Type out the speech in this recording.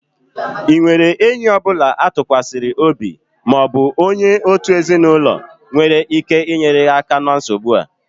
Ị nwere enyi ọ bụla a tụkwasịrị obi ma ọ bụ onye òtù ezinụlọ nwere ike inyere gị aka na nsogbu a?